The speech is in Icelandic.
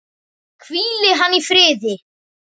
Hvíli hann í friði!